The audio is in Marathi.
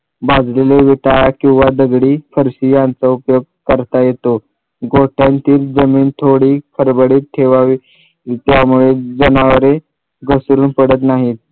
भाजलेले येता किंवा दगडी फरशी यांचा उपयोग करता येतो गोठ्यांतील जमीन थोडी खडबडीत ठेवावी त्यामुळे जनावरे घसरून पडत नाहीत